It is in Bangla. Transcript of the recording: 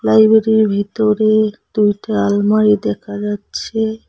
লাইবেরির ভিতরে দুইটা আলমারি দেখা যাচ্ছে।